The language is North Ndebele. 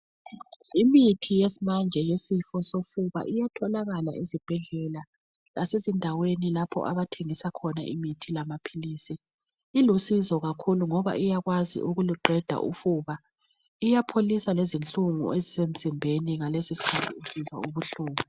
Imithi yesimanje yesifo sofuba iyatholakala ezibhendlela lasezindaweni lapho abathengisa khona imithi lamaphilisi ilusizo kakhulu ngoba uyakwazi ukuluqeda ufuba iyapholisa lezinhlungu ezisemzimbeni ngalezi sikhanthi esizwa ubuhlungu